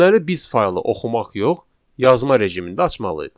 Deməli biz faylı oxumaq yox, yazma rejimində açmalıyıq.